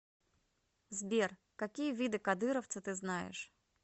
сбер какие виды кадыровцы ты знаешь